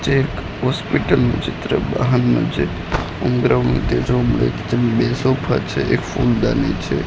Check hospital નું ચિત્ર હામે છે બે સોફા છે એક ફૂલદાની છે.